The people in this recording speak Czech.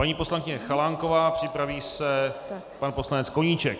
Paní poslankyně Chalánková, připraví se pan poslanec Koníček.